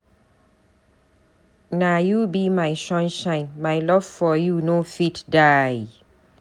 Na you be my sunshine, my love for you no fit die.